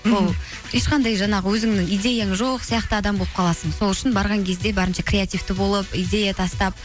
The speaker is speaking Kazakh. ол ешқандай жаңағы өзіңнің идеяң жоқ сияқты адам болып қаласың сол үшін барған кезде барынша креативті болып идея тастап